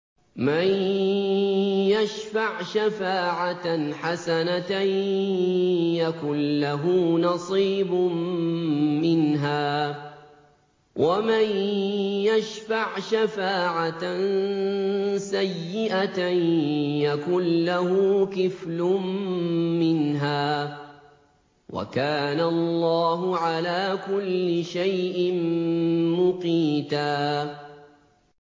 مَّن يَشْفَعْ شَفَاعَةً حَسَنَةً يَكُن لَّهُ نَصِيبٌ مِّنْهَا ۖ وَمَن يَشْفَعْ شَفَاعَةً سَيِّئَةً يَكُن لَّهُ كِفْلٌ مِّنْهَا ۗ وَكَانَ اللَّهُ عَلَىٰ كُلِّ شَيْءٍ مُّقِيتًا